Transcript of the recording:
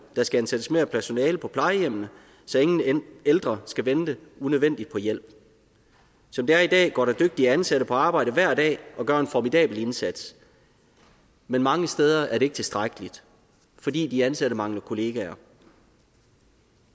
der skal ansættes mere personale på plejehjemmene så ingen ældre skal vente unødvendigt på hjælp som det er i dag går der dygtige ansatte på arbejde hver dag og gør en formidabel indsats men mange steder er det ikke tilstrækkeligt fordi de ansatte mangler kollegaer